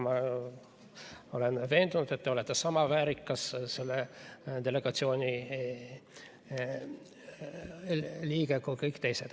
Ma olen veendunud, et te olete sama väärikas selle delegatsiooni liige kui kõik teised.